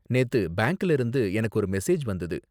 நேத்து பேங்க்ல இருந்து எனக்கு ஒரு மெசேஜ் வந்தது.